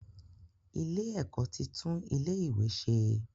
Ilé-ẹ̀kọ́ ti tún ilé-ìwé ṣe.